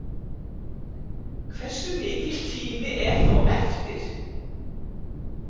HVERSU MIKILL TÍMI ER ÞÓ EFTIR???